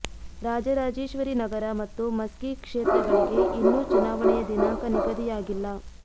ರಾಜರಾಜೇಶ್ವರಿ ನಗರ ಮತ್ತು ಮಸ್ಕಿ ಕ್ಷೇತ್ರಗಳಿಗೆ ಇನ್ನೂ ಚುನಾವಣೆಯ ದಿನಾಂಕ ನಿಗದಿಯಾಗಿಲ್ಲ